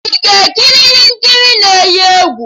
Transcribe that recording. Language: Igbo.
Ị ga-ekiri ihe nkiri na-eyi egwu?